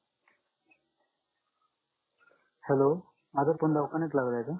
hello माजा phone दवाखाण्यात लागलाय का